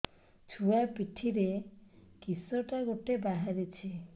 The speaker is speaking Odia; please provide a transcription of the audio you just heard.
ଛୁଆ ପିଠିରେ କିଶଟା ଗୋଟେ ବାହାରିଛି